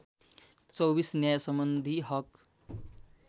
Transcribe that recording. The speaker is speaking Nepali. २४ न्यायसम्बन्धी हक